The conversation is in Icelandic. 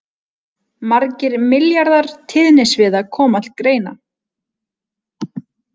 Margir milljarðar tíðnisviða koma til greina.